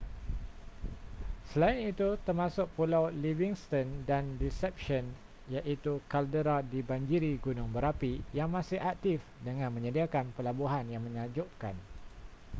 selain itu termasuk pulau livingston dan deception iaitu kaldera dibanjiri gunung berapi yang masih aktif dengan menyediakan pelabuhan yang menakjubkan